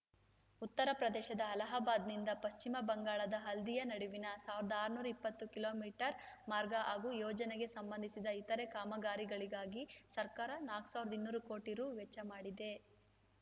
ಉತ್ತರಪ್ರದೇಶದ ಅಲಹಾಬಾದ್‌ನಿಂದ ಪಶ್ಚಿಮ ಬಂಗಾಳದ ಹಲ್ದಿಯಾ ನಡುವಿನ ಸಾವಿರದ ಆರುನೂರ ಇಪ್ಪತ್ತು ಕಿಲೋ ಮೀಟರ್ ಮಾರ್ಗ ಹಾಗೂ ಯೋಜನೆಗೆ ಸಂಬಂಧಿಸಿದ ಇತರೆ ಕಾಮಗಾರಿಗಳಿಗಾಗಿ ಸರ್ಕಾರ ನಾಕ್ ಸಾವಿರದ ಇನ್ನೂರು ಕೋಟಿ ರು ವೆಚ್ಚ ಮಾಡಿದೆ